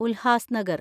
Ulhasnagar